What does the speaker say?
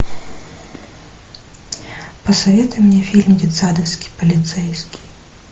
посоветуй мне фильм детсадовский полицейский